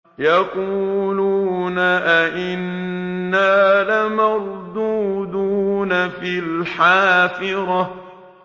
يَقُولُونَ أَإِنَّا لَمَرْدُودُونَ فِي الْحَافِرَةِ